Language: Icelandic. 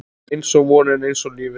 Einsog vonin, einsog lífið